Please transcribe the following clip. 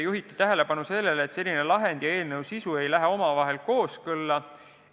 Juhiti tähelepanu, et selline lahend ja eelnõu sisu ei lähe omavahel kooskõlla.